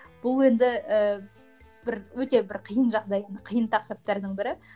бұл енді ііі бір өте бір қиын жағдай қиын тақырыптардың бірі